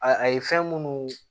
A a ye fɛn munnu